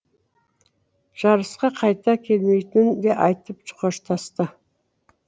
жарысқа қайта келмейтінін де айтып қоштасты